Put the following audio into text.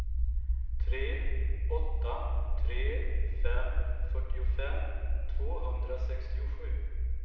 tre åtta tre fem fyrtiofem tvåhundrasextiosju